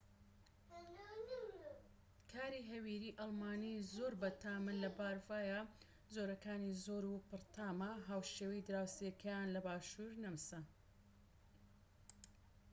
کاری هەویری ئەڵمانی زۆر بەتامن لە بەڤاریا جۆرەکانی زۆر و پڕتامە هاوشێوەی دراوسێکەیان لە باشور نەمسا